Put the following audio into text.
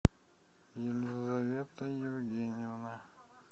елизавета евгеньевна